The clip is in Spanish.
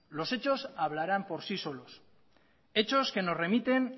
los hechos hablarán por sí solos hechos que nos remiten